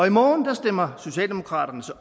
i morgen stemmer socialdemokraterne så